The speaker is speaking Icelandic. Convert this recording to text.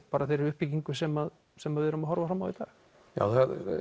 bara þeirri uppbyggingu sem sem við erum að horfa fram á í dag já